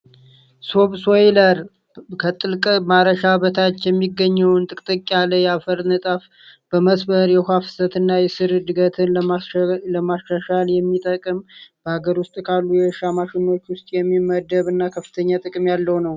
ሶብ ሶይለር ከጥልቅ ማረሻ በታች የሚገኘውን ጥቅጥቅ ያለ ያለ የአፈር ንጣፍ በመስበር የውሃ ፍሰት እና የስር ድገትን ለማሻሻል የሚጠቅም በሀገር ውስጥ ካሉ የእሻ ማሽኖች ውስጥ የሚመደብ እና ከፍተኛ ጥቅም ያለው ነው።